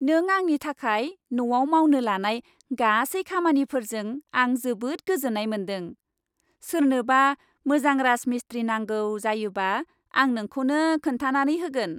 नों आंनि थाखाय न'आव मावनो लानाय गासै खामानिफोरजों आं जोबोद गोजोन्नाय मोनदों। सोरनोबा मोजां राजमिस्थ्रि नांगौ जायोबा आं नोंखौनो खोन्थानानै होगोन।